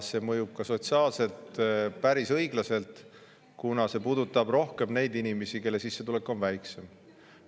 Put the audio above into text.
See mõjub ka sotsiaalselt päris õiglaselt, kuna puudutab rohkem neid inimesi, kelle sissetulek on väiksem.